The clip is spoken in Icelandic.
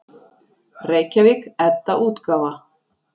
Reykjavík: Edda-útgáfa.